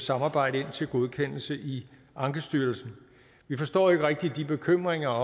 samarbejde ind til godkendelse i ankestyrelsen vi forstår ikke rigtig bekymringerne